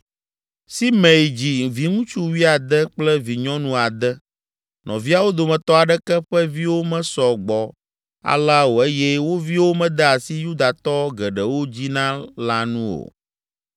Simei dzi viŋutsu wuiade kple vinyɔnu ade. Nɔviawo dometɔ aɖeke ƒe viwo mesɔ gbɔ alea o eye wo viwo mede esi Yudatɔ geɖewo dzina la nu o.